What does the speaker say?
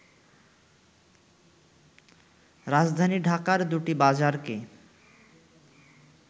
রাজধানী ঢাকার দুটি বাজারকে